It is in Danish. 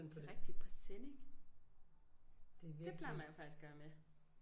Det rigtig presenning det plejer man faktisk at skulle have med